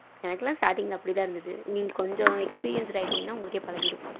எனக்கு எல்லாம் starting அப்படி தான் இருந்தது நீங்க கொஞ்ச experienced ஆகிட்டீங்கன்னா உங்களுக்கே பழகிடும்.